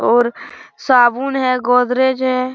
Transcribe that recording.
और साबुन है गोदरेज है।